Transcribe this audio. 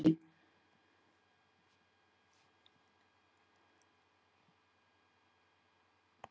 Hægt er að búa til eld með því að hita eldfim efni nægilega mikið.